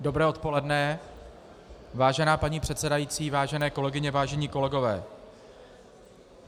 Dobré odpoledne, vážená paní předsedající, vážené kolegyně, vážení kolegové.